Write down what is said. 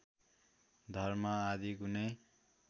धर्म आदि कुनै